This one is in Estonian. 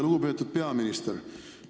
Lugupeetud peaminister!